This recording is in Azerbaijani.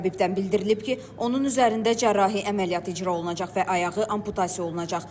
Təbibdən bildirilib ki, onun üzərində cərrahi əməliyyat icra olunacaq və ayağı amputasiya olunacaq.